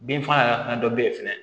Bin faga yɛrɛ fana dɔ bɛ yen fɛnɛ